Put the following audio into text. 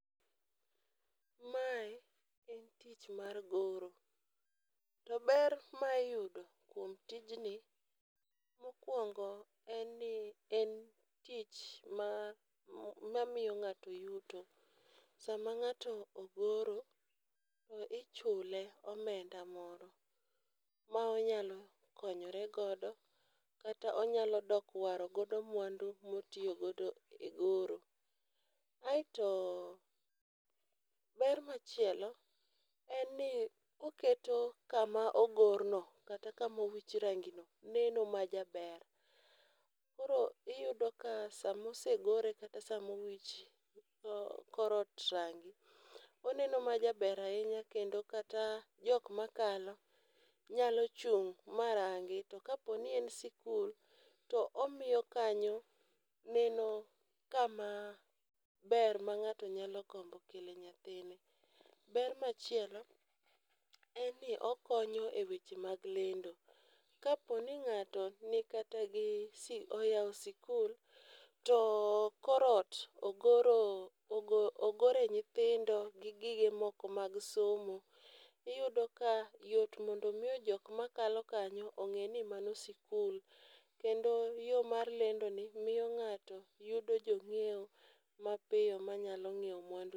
Mae en tich mar goro. To ber ma iyudo kuom tijni, mokuongo en ni en tich mamiyo ng'ato yuto. Sama ng'ato ogoro to ichule omenda moro ma onyalo konyore godo kata onyalo dok waro godo mwandu motiyo godo e goro. Aeto ber machielo en ni oketo kama ogorno kata kama owich rangino neno majaber. Koro iyudo ka sama osegore kata sama owich korot rangi, oneno ma jaber ahinya kendo kata jok makalo, nyalo chung' ma rangi. To kaponi en sikul, to omiyo kanyo neno kama ber ma ng'ato nyalo gombo kele nyathine. Ber machielo en ni okonyo e weche mag lendo, kaponi ng'ato nikata gi si oyao sikul, to korot ogor ogore nyithindo gi gige moko mag somo, iyudo ka yot mondo miyo jok makalo kanyo ong'eni mano sikul, kendo yo mar lendoni miyo ng'ato yudo jo ng'ieo mapiyo manyalo ng'ieo mwandune.